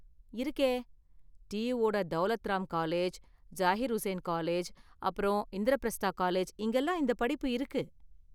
இருக்கே, டியூவோட Daulat Ram college, Zakir Hussain college அப்பறம் இந்திரபிரஸ்தா காலேஜ் இங்கலாம் இந்தப் படிப்பு இருக்கு.